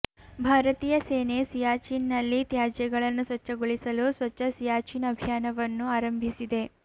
ಭಾರತೀಯ ಸೇನೆ ಸಿಯಾಚಿನ್ ನಲ್ಲಿ ತ್ಯಾಜ್ಯಗಳನ್ನು ಸ್ವಚ್ಛಗೊಳಿಸಲು ಸ್ವಚ್ಛ ಸಿಯಾಚಿನ್ ಅಭಿಯಾನವನ್ನು ಆರಂಭಿಸಿದೆ